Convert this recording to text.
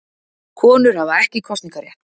Konur hafa ekki kosningarétt.